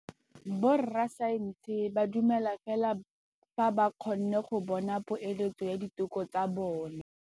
Borra saense ba dumela fela fa ba kgonne go bona poeletsô ya diteko tsa bone.